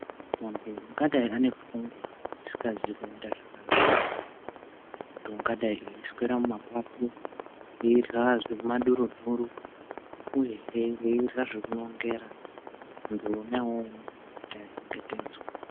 Vantu vangadai vane pfungwa dzisingazi kumira zvakanaka kana kuti ungadai eiswera mumapato eirya zvemumadurinhuru uyehe eirya zvekunongera vantu vona ivavo vanofanira kuti vachengetedzwe.